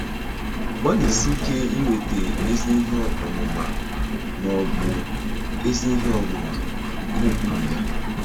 Gbalịsie ike inweta “ezi ihe ọmụma” ma ọ bụ “ezi ihe ọmụma” nke ụkpụrụ ya.